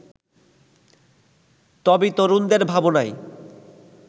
তবে তরুণদের ভাবনায়